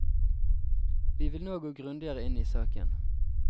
Vi vil nå gå grundigere inn i saken.